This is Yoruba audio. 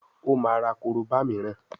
o ma rà koroba míràn